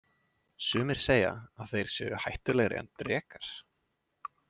Sumir segja að þeir séu hættulegri en drekar.